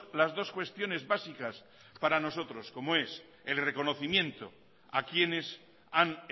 las dos cuestiones básicas para nosotros como es el reconocimiento a quienes han